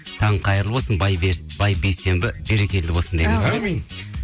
таң қайырлы болсын бай бейсенбі берекелі болсын әумин